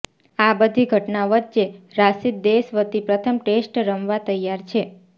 આ બધી ઘટના વચ્ચે રાશિદ દેશ વતી પ્રથમ ટેસ્ટ રમવા તૈયાર છે